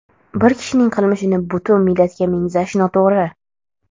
Bir kishining qilmishini butun millatga mengzash noto‘g‘ri!.